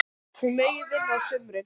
Hún megi vinna á sumrin.